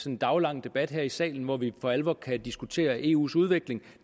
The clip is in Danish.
en daglang debat her i salen hvor vi for alvor kan diskutere eus udvikling